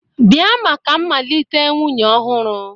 Bia maka mmalite nwunye ọhụrụ